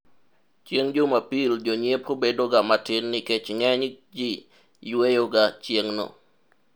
chieng' jumapil jonyiepo bedo ga matin nikech ng'eny ji yueyoga chieng'no